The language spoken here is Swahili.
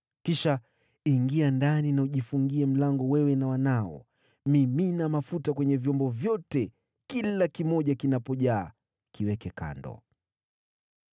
Kisha ingia ndani na ujifungie mlango, wewe na wanao. Mimina mafuta kwenye vyombo vyote, na kila kimoja kinapojaa, kiweke kando.”